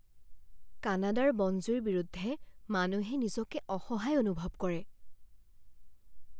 কানাডাৰ বন জুইৰ বিৰুদ্ধে মানুহে নিজকে অসহায় অনুভৱ কৰে।